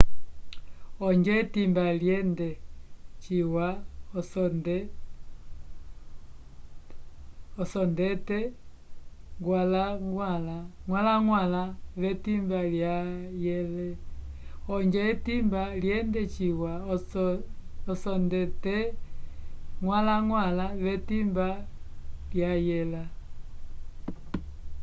ojo etimba lyende ciwa osondete gwalangwala ve timba lwayele